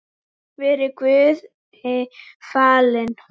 Verið Guði falin.